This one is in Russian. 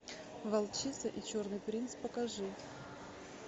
волчица и черный принц покажи